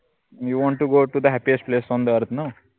youwanttogotothehappiestplaceontheearth न